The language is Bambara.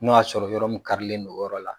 N'o y'a sɔrɔ yɔrɔ min karilen don o yɔrɔ la